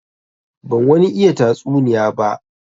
Ban wani iya tatsuniya ba.